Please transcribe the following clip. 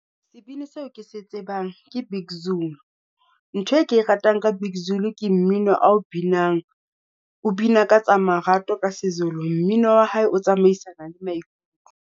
Sebini seo ke se tsebang ke Big Zulu. Ntho e ke e ratang ka Big Zulu ke mmino ao binang. O bina ka tsa marato ka se Zulu, mmino wa hae o tsamaisana le maikutlo.